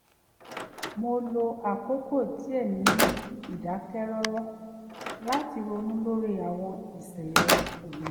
mo lo àkókò díẹ̀ ní ìdákẹ́ rọ́rọ́ láti ronú lórí àwọn ìṣẹ̀lẹ̀ òní